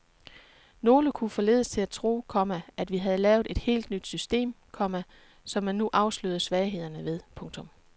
Nogle kunne forledes til at tro, komma at vi havde lavet et helt nyt system, komma som man nu afslørede svaghederne ved. punktum